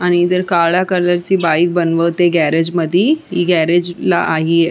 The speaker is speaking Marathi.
आणि तिथे काळ्या कलरची बाईक बनवते गॅरेज मधी गॅरेज ला हे--